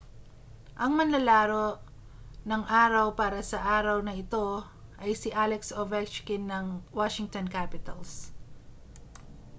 ang manlalaro ng araw para sa araw na ito ay si alex ovechkin ng washington capitals